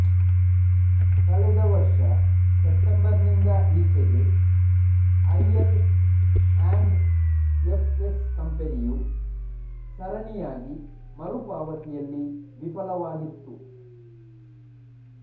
ಕಳೆದ ವರ್ಷ ಸೆಪ್ಟೆಂಬರ್ ನಿಂದ ಈಚೆಗೆ ಐಎಲ್ ಅಂಡ್ ಎಫ್ ಎಸ್ ಕಂಪೆನಿಯು ಸರಣಿಯಾಗಿ ಮರುಪಾವತಿಯಲ್ಲಿ ವಿಫಲವಾಗಿತ್ತು